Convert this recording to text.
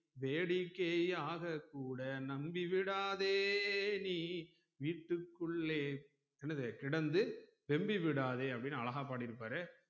வேடிக்கை ஆக கூட நம்பி விடாதே நீ வீட்க்குள்ளே என்னது கிடந்து வெம்பி விடாதே அப்டின்னு அழகா பாடிருப்பாரு